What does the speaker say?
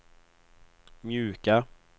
mjuka